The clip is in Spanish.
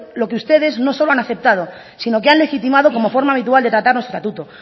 lo que ustedes no solo han aceptado sino que han legitimado como forma habitual de tratar nuestro estatuto